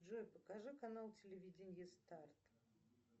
джой покажи канал телевидения старт